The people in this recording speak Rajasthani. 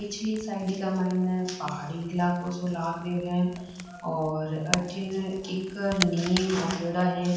पिछली साइड को माइन पहाड़ी इलाकों सो लाग रो है और अथीन एक निम उगेडा है।